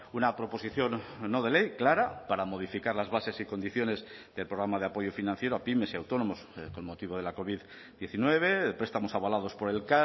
una proposición no de ley clara para modificar las bases y condiciones del programa de apoyo financiero a pymes y autónomos con motivo de la covid diecinueve prestamos avalados por el